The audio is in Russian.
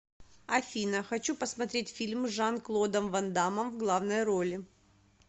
афина хочу посмотреть фильм с жан клодом вандамом в главной роли